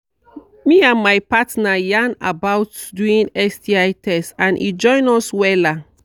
me and my partner yarn about doing sti test and e join us wella